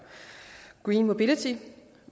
greenmobility